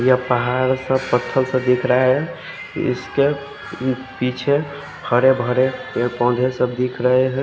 यहाँ पहाड़ सा पत्थर सा दिख रहा है इसके पीछे हरे भरे पोधे सब दिख रहे है।